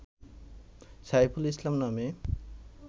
সাইফুল ইসলাম নামে